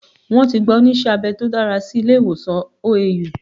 Wọ́n ti gba onísé abẹ tó dára sí ilé ìwòsàn OAU